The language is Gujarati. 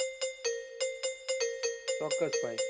ચોક્કસ ભાઈ.